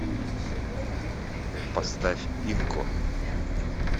поставь инко